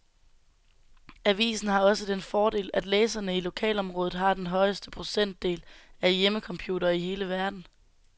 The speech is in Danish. Avisen har også den fordel, at læserne i lokalområdet har den højeste procentdel af hjemmecomputere i hele verden.